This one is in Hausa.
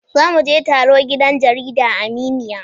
Za mu je taro gidan jarida Aminiya